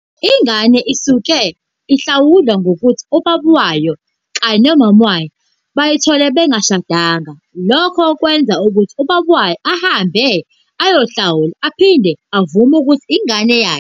Ingane usuke ihlawulwa ngokuthi ubaba wayo kanye nomama bayithe bengashadanga, lokho okwenza ukuthi ubaba wayo ahambe ayohlawula aphinde avume ukuthi ingane eyakhe.